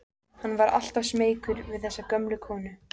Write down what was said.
Hann var alltaf smeykur við þessa gömlu konu.